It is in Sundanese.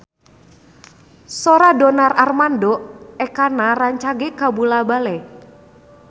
Sora Donar Armando Ekana rancage kabula-bale